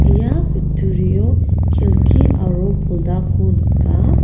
ia kutturio kelki aro poldako nika.